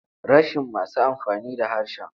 Rashin masu amfani da harshen.